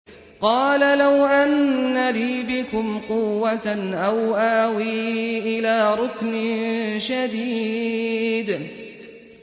قَالَ لَوْ أَنَّ لِي بِكُمْ قُوَّةً أَوْ آوِي إِلَىٰ رُكْنٍ شَدِيدٍ